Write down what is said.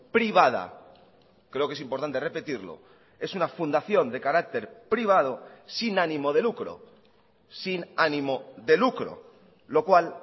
privada creo que es importante repetirlo es una fundación de carácter privado sin ánimo de lucro sin ánimo de lucro lo cual